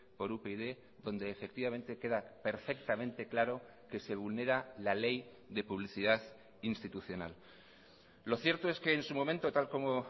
por upyd donde efectivamente queda perfectamente claro que se vulnera la ley de publicidad institucional lo cierto es que en su momento tal como